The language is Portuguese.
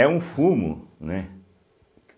É um fumo, né?